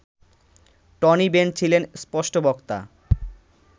Tony Benn ছিলেন স্পষ্টবক্তা